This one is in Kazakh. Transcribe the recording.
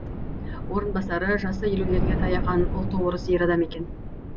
орынбасары жасы елулерге таяған ұлты орыс ер адам екен